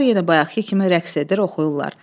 Uşaqlar yenə bayaqkı kimi rəqs edir, oxuyurlar.